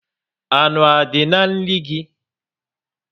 Anụ a dị na nri gị?